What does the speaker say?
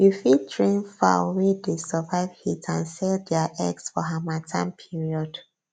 you fit train fowl wey dey survive heat and sell dia eggs for harmattan period